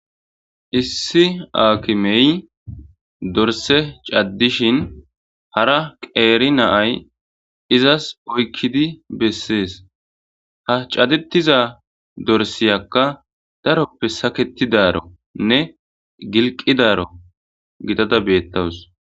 Issi aakimey dorse caddishin hara qeeri naay izas oykkidi bessees ha cadetiza dorsiyakka daroppe saketidaro nne gilqidaro gidada beettawus.